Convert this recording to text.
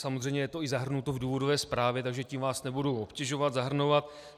Samozřejmě je to i zahrnuto v důvodové zprávě, takže tím vás nebudu obtěžovat, zahrnovat.